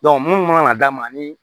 munnu mana d'a ma ani